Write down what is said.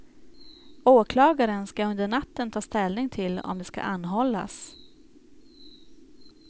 Åklagaren ska under natten ta ställning till om de ska anhållas.